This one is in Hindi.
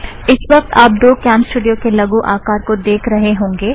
इस वक्त आप दो कॅमस्टूड़ियो के लगु आकार देख रहे होंगे